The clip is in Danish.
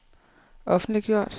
offentliggjort